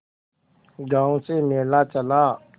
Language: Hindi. गांव से मेला चला